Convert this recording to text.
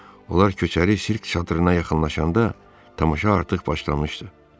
Onlar köçəri sirk çadırına yaxınlaşanda tamaşa artıq başlamışdı.